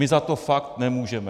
My za to fakt nemůžeme.